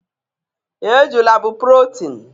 Ejula bụ protein